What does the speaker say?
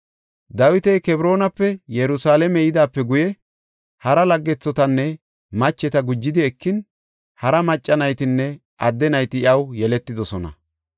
Dawiti Kebroonape Yerusalaame yidaape guye, hara laggethotanne macheta gujidi ekin, hara macca naytinne adde nayti iyaw yeletidosona.